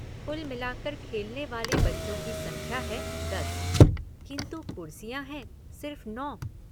कुल मिलाकर खेलने वाले बच्चों की संख्या है दस किन्तु कुर्सियाँ हैं सिर्फ नौ।